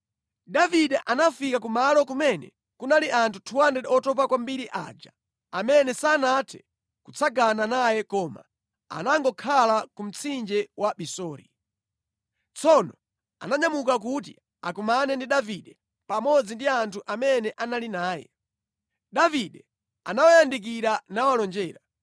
Davide anafika ku malo kumene kunali anthu 200 otopa kwambiri aja amene sanathe kutsagana naye koma anangokhala ku mtsinje wa Besori. Tsono ananyamuka kuti akumane ndi Davide pamodzi ndi anthu amene anali naye. Davide anawayandikira nawalonjera.